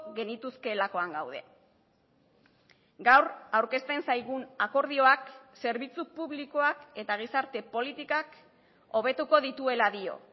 genituzkeelakoan gaude gaur aurkezten zaigun akordioak zerbitzu publikoak eta gizarte politikak hobetuko dituela dio